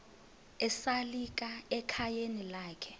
esalika ekhayeni lakhe